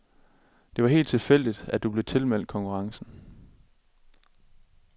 Det var helt tilfældigt, at du blev tilmeldt konkurrencen.